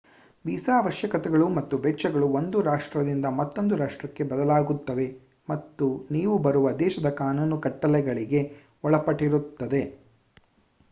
visa ಅವಶ್ಯಕತೆಗಳು ಮತ್ತು ವೆಚ್ಚಗಳು ಒಂದು ರಾಷ್ಟ್ರದಿಂದ ಮತ್ತೊಂದು ರಾಷ್ಟ್ರಕ್ಕೆ ಬದಲಾಗುತ್ತವೆ ಮತ್ತು ನೀವು ಬರುವ ದೇಶದ ಕಾನೂನು ಕಟ್ಟಲೆಗಳಿಗೆ ಒಳಪಟ್ಟಿರುತ್ತದೆ